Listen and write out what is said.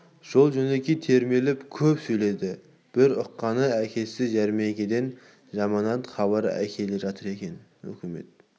жол-жөнекей термелеп көп сөйледі бір ұққаны әкесі жәрмеңкеден жаманат хабар әкеле жатыр екен өкімет